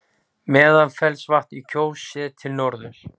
Meðalfellsvatn í Kjós, séð til norðurs.